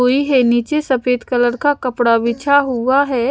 कोई है नीचे सफेद कलर का कपड़ा बिछा हुआ है।